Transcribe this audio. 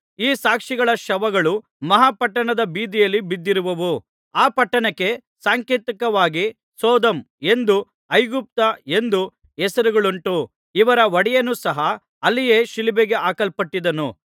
ಈ ಸಾಕ್ಷಿಗಳ ಶವಗಳು ಮಹಾ ಪಟ್ಟಣದ ಬೀದಿಯಲ್ಲಿ ಬಿದ್ದಿರುವವು ಆ ಪಟ್ಟಣಕ್ಕೆ ಸಾಂಕೇತಿಕವಾಗಿ ಸೊದೋಮ್ ಎಂದು ಐಗುಪ್ತ ಎಂದೂ ಹೆಸರುಗಳುಂಟು ಇವರ ಒಡೆಯನು ಸಹ ಅಲ್ಲಿಯೇ ಶಿಲುಬೆಗೆ ಹಾಕಲ್ಪಟ್ಟಿದ್ದನು